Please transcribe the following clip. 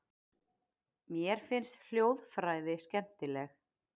Mér finnst hljóðfræði skemmtileg.